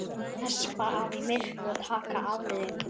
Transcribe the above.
Hespa af í myrkri og taka afleiðingunum.